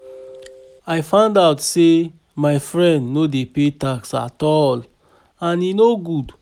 I find out say my friend no dey pay tax at all and e no good